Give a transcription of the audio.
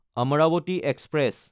Amaravati express